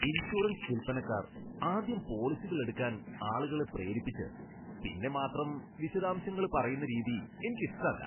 Insurance വിൽപ്പനക്കാർ ആദ്യം പോളിസികൾ എടുക്കാൻ ആളുകളെ പ്രേരിപ്പിച്ച് പിന്നെ മാത്രം വിശദാംശങ്ങൾ പറയുന്ന രീതി എനിക്കിഷ്ടല്ല.